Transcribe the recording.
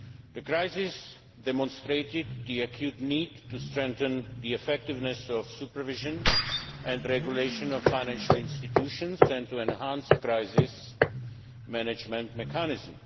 The crisis demonstrated the acute need to strengthen the effectiveness of the supervision and regulation of financial institutions and to enhance crisis management mechanisms.